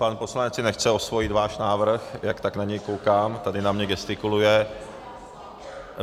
Pan poslanec si nechce osvojit váš návrh, jak tak na něj koukám, tady na mě gestikuluje.